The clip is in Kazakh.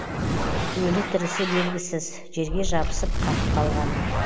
өлі тірісі белгісіз жерге жабысып қатып қалған